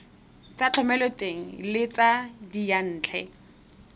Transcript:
tsa thomeloteng le tsa diyantle